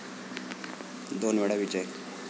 दोन वेळा विजय